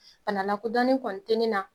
Bana lakɔdonnen kɔni tɛ ne na